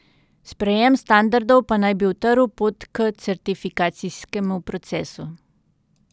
Sprejem standardov pa naj bi utrl pot k certifikacijskemu procesu.